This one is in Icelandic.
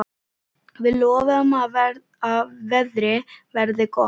Við lofum að veðrið verði gott.